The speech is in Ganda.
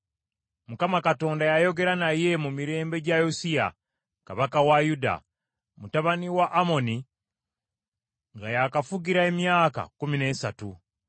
Mukama Katonda yayogera naye mu mirembe gya Yosiya, kabaka wa Yuda, mutabani wa Amoni, nga yakafugira emyaka kkumi n’esatu,